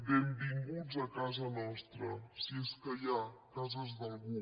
benvinguts a casa nostra si és que hi ha cases d’algú